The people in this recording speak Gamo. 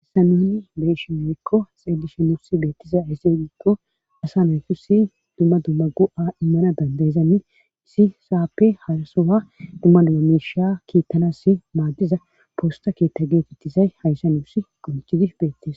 Hayssa nuni beyshi moyykko xedishe nusi beettiza isseedikko asa naykusi dumma dumma go7a immana dandayzamin isi saappe harasowa dumma dumamisha kiittanassi maaddiza poosta keetta geetettizay hayssa nuussi qoncidi beettes.